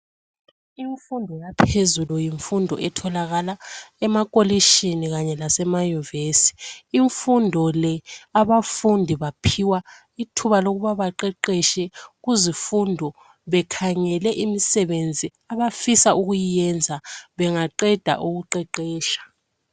Imfundo yaphezulu yimfundo etholakala emakolitshini kanye lasemayunivesi, imfundo le abafundi baphiwa ithuba lokuba baqeqetshe kuzifundo bekhangele imisebenzi abafisa ukuyenza bengaqeda ukuqeqetsha.